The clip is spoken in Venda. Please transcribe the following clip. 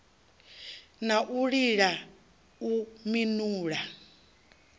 na u lila u minula